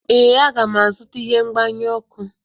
Ee, a ga m azụta ihe mgbanyụ ọkụ